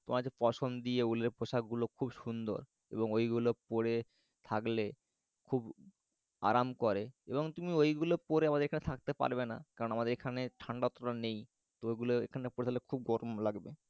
তোমার ঐ পশাম দিয়ে ওগুলো খুব সুন্দর এবং ওইগুলো পরে থাকলে খুব আরাম করে। এবং তুমি ওইগুলো পরে আমাদের এখানে থাকতে পারবে না। কারণ আমাদের এখানে ঠাণ্ডা অতটা নেই। তো ওইগুলো এখানে পড়লে খুব গরম লাগবে।